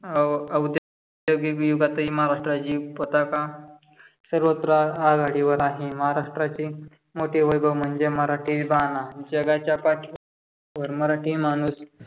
अह औद्यो गिक विभागात ही महाराष्ट्राची पताका सर्वत्र आघाडीवर आहे. महाराष्ट्राचे मोठे वैभव म्हणजे मराठी बाणा. जगाच्या पाठीवर मराठी माणूस